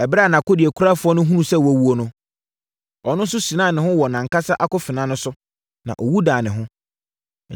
Ɛberɛ a nʼakodeɛkurafoɔ no hunuu sɛ wawuo no, ɔno nso sinaa ne ho wɔ nʼankasa akofena no so, na ɔwu daa ne ho.